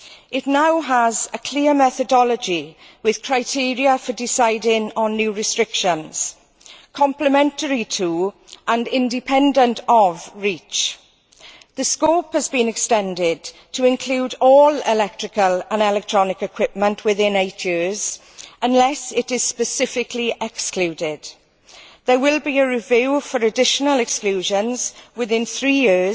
It now has a clear methodology, with criteria for deciding on new restrictions, complementary to and independent of REACH. The scope has been extended to include all electrical and electronic equipment within eight years, unless it is specifically excluded. There will be a review for additional exclusions within three years,